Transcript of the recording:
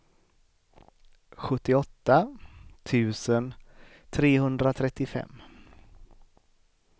sjuttioåtta tusen trehundratrettiofem